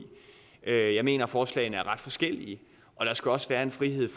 jeg mener at forslagene er ret forskellige og der skal også være en frihed